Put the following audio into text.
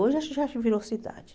Hoje acho que já virou cidade.